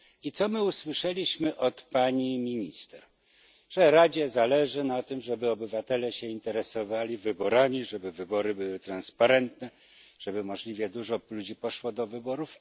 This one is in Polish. I co my usłyszeliśmy od pani minister? Że Radzie zależy na tym, żeby obywatele się interesowali wyborami, żeby wybory były transparentne, żeby możliwie dużo ludzi poszło do wyborów.